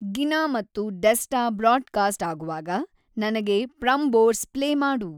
ಗಿನಾ ಮತ್ತು Desta broadcast ಆಗುವಾಗ ನನಗೆ ಪ್ರಂಬೋರ್ಸ್ ಪ್ಲೇ ಮಾಡು